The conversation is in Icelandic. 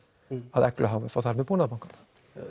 að Eglu h f og þar með Búnaðarbankann það